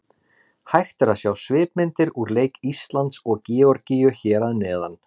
Hægt er að sjá svipmyndir úr leik Íslands og Georgíu hér að neðan.